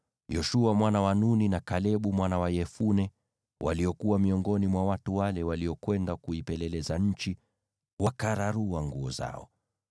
Yoshua mwana wa Nuni na Kalebu mwana wa Yefune, waliokuwa miongoni mwa watu wale waliokwenda kuipeleleza nchi, wakararua nguo zao,